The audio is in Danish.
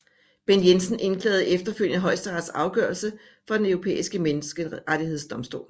Bent Jensen indklagede efterfølgende Højesterets afgørelse for Den Europæiske Menneskerettighedsdomstol